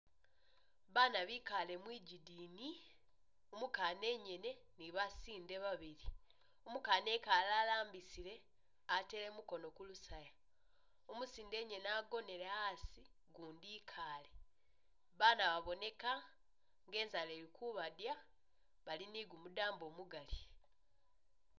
Baana bekaale mwigidini, umukaana engene ne basinde babili, umukaana ekaale alambisile atele mukono kulusaya , umusinde engene agonele asi ugundi ikaale, baana baboneka nga inzaala ili kubadya bali ni gumudambo mugaali.